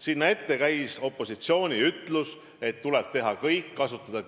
Sinna ette andis opositsioon teada, et tuleb teha kõik, kasutada